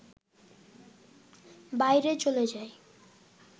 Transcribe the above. বাইরে চলে যায়